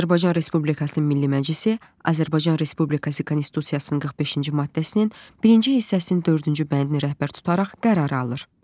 Azərbaycan Respublikasının Milli Məclisi Azərbaycan Respublikası Konstitusiyasının 45-ci maddəsinin birinci hissəsinin dördüncü bəndini rəhbər tutaraq qərar alır.